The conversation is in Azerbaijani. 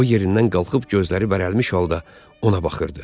O yerindən qalxıb gözləri bərəlmish halda ona baxırdı.